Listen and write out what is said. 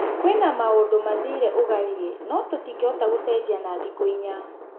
" Kwina maũndũ mathire ũgariĩ, no tũtingĩhota gũcenjia na thikũ inya.